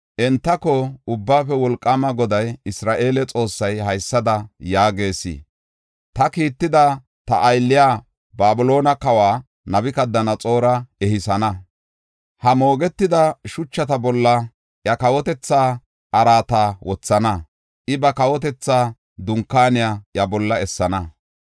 Entako, ‘Ubbaafe Wolqaama Goday, Isra7eele Xoossay haysada yaagees; ta kiittada, ta aylliya Babiloone kawa Nabukadanaxoora ehisana. Ha moogetida shuchata bolla iya kawotethaa araata wothana. I ba kawotetha dunkaaniya iya bolla essana.